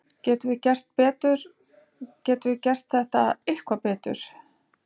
Getum við gert þetta eitthvað betur?